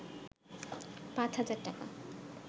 ৫ হাজার টাকা